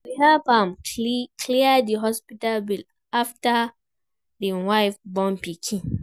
We help am clear di hospital bill afta im wife born pikin.